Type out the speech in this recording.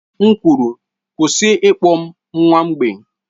M kwuru, kwụsị ịkpọ m nwa mgbei!